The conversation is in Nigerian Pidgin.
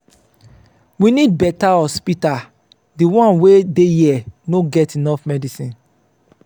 we need beta hospital di one wey dey here no get enough medicine.